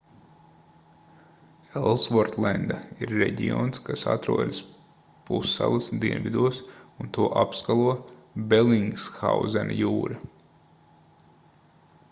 elsvortlenda ir reģions kas atrodas pussalas dienvidos un to apskalo belingshauzena jūra